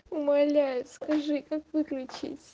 умоляю скажи как выключить